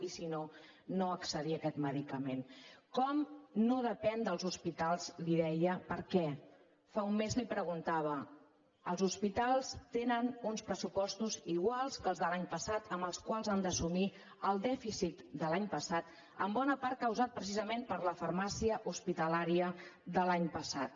i si no no accedir a aquest medicament com no depèn dels hospitals li deia perquè fa un mes li ho preguntava els hospitals tenen uns pressupostos iguals que els de l’any passat amb els quals han d’assumir el dèficit de l’any passat en bona part causat precisament per la farmàcia hospitalària de l’any passat